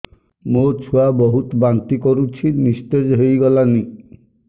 ମୋ ଛୁଆ ବହୁତ୍ ବାନ୍ତି କରୁଛି ନିସ୍ତେଜ ହେଇ ଗଲାନି